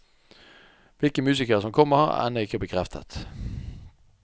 Hvilke musikere som kommer, er ennå ikke bekreftet.